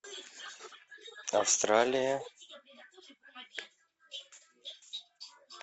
австралия